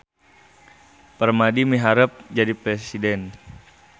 Permadi miharep jadi presiden